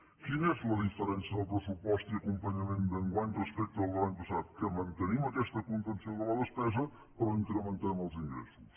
quina és la diferència del pressupost i acompanyament d’enguany respecte al de l’any passat que mantenim aquesta contenció de la despesa però incrementem els ingressos